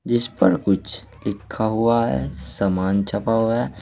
जिस पर कुछ लिखा हुआ है सामान छपा हुआ है।